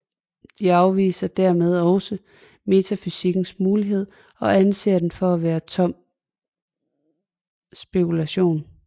De afviser dermed også metafysikkens mulighed og anser den for at være tom spekulation